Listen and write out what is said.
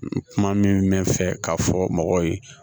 Kuma min bɛ fɛ k'a fɔ mɔgɔw ye